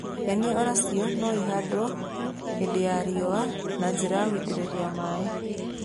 Nyeni o nacio no ihandwo hĩndĩ ya riũa na njĩra ya gũitĩrĩria maaĩ.